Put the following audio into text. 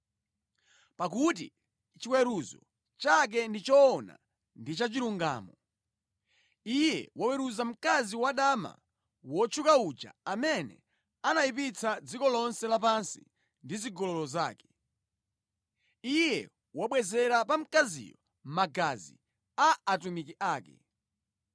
pakuti chiweruzo chake ndi choona ndi cha chilungamo. Iye waweruza mkazi wadama wotchuka uja amene anayipitsa dziko lonse lapansi ndi zigololo zake. Iye wabwezera pa mkaziyo magazi a atumiki ake.”